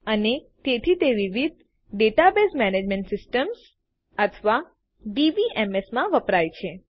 અને તેથી તે વિવિધ ડેટાબેઝ મેનેજમેન્ટ સીસ્ટમ્સ અથવા ડીબીએમએસ માં વપરાય છે